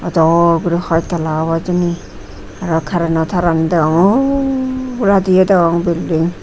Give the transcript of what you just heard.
to gori hoi talla obow hijeni arow kareno tarani degongor ohhbladiyo degong belding .